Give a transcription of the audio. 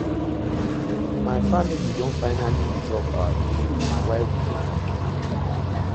My family don finally resolve our issue na why we dey happy